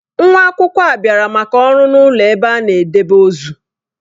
Nwa akwụkwọ a bịara maka ọrụ n'ụlọ ebe a na-edebe ozu.